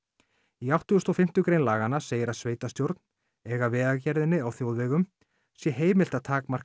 í átttugasta og fimmtu grein laganna segir að sveitarstjórn eða Vegagerðinni á þjóðvegum sé heimilt að takmarka